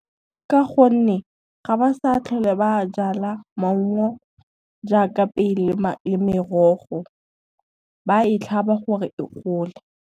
Ka gonne, ga ba sa tlhole ba jala maungo jaaka pele le merogo. Ba e tlhaba gore e gole.